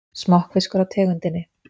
Smokkfiskur af tegundinni